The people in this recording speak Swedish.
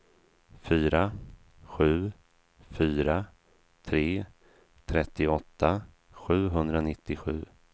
fyra sju fyra tre trettioåtta sjuhundranittiosju